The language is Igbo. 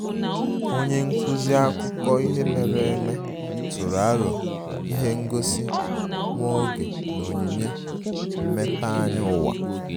Onye nkuzi akụkọ ihe mere eme tụrụ aro ihe ngosi nwa oge na onyinye mmepeanya ụwa